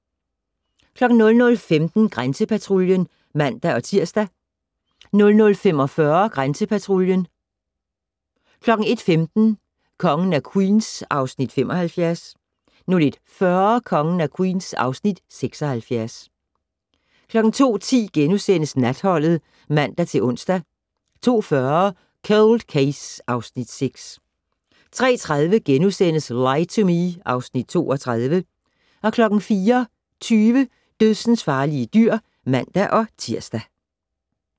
00:15: Grænsepatruljen (man-tir) 00:45: Grænsepatruljen 01:15: Kongen af Queens (Afs. 75) 01:40: Kongen af Queens (Afs. 76) 02:10: Natholdet *(man-ons) 02:40: Cold Case (Afs. 6) 03:30: Lie to Me (Afs. 32)* 04:20: Dødsensfarlige dyr (man-tir)